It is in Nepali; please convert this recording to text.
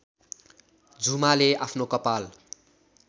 झुमाले आफ्नो कपाल